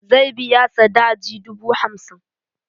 Zai biya sadaji dubu hamsin.